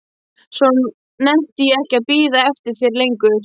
Svo nennti ég ekki að bíða eftir þér lengur.